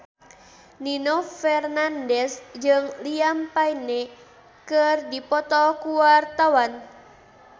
Nino Fernandez jeung Liam Payne keur dipoto ku wartawan